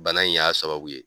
Bana in y'a sababu ye.